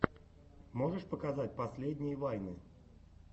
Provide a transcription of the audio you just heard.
можешь показать последние вайны